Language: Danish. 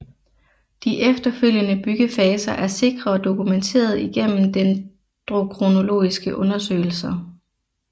De efterfølgende byggefaser er sikrere dokumenteret igennem Dendrokronologiske undersøgelser